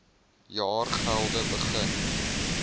jaar gelede begin